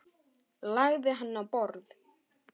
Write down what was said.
Lagði hann á borð.